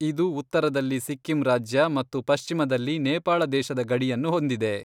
ಇದು ಉತ್ತರದಲ್ಲಿ ಸಿಕ್ಕಿಂ ರಾಜ್ಯ ಮತ್ತು ಪಶ್ಚಿಮದಲ್ಲಿ ನೇಪಾಳ ದೇಶದ ಗಡಿಯನ್ನು ಹೊಂದಿದೆ.